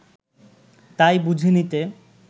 তাই বুঝে নিতে